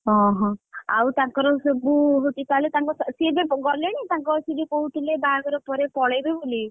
ଅହଁ ଆଉ ତାଙ୍କର ସବୁ ହଉଛି ତାହାଲେ ତାଙ୍କ ସେ ଏବେ ଗଲେଣି ତାଙ୍କ ସେ ଯୋଉ କହୁଥିଲେ ବାହାଘର ପରେ ପଳେଇବେ ବୋଲି,